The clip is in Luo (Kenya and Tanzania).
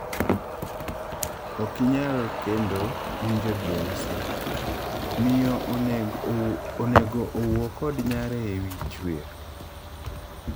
Ok inyal kendo winjo DRC:Miyo onego owuoo kod nyare ewii chwer?